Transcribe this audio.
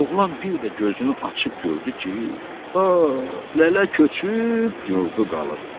Oğlan bir də gözünü açıb gördü ki, lələ köçüb, yurdu qalıb.